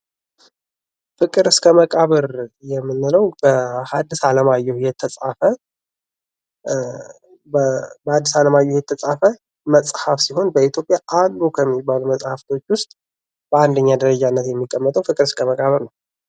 ፍቅር እስከ መቃብር የምንለው በሀዲስ አለማየሁ የተጻፈ መጽሃፍ ሲሆን በኢትዮጵያ አሉ ከሚባሉ መጽሀፍቶች ዉስጥ በአንደኛ ደረጃነት የሚቀመጠው ፍቅር እስከመቃብር ነዉ።